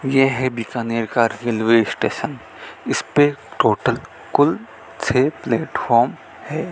ये है बीकानेर का रेलवे स्टेशन इसपे टोटल कुल छह प्लेटफॉर्म है।